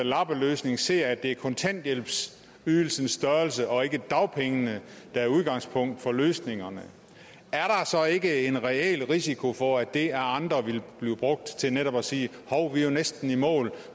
lappeløsning ser at det er kontanthjælpens størrelse og ikke dagpengene der er udgangspunkt for løsningerne er der så ikke en reel risiko for at det af andre vil blive brugt til netop at sige hov vi er jo næsten i mål